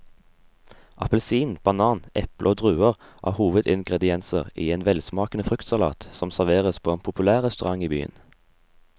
Appelsin, banan, eple og druer er hovedingredienser i en velsmakende fruktsalat som serveres på en populær restaurant i byen.